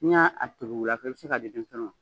N'i y'a segin wula fɛ ii bɛ se k'a di denmisɛnniw ma.